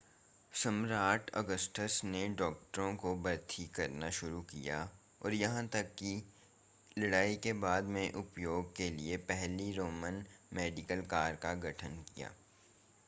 सम्राट ऑगस्टस ने डॉक्टरों को भर्ती करना शुरू किया और यहां तक कि लड़ाई के बाद में उपयोग के लिए पहली रोमन मेडिकल कोर का गठन किया